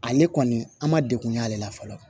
Ale kɔni an ma degun y'ale la fɔlɔ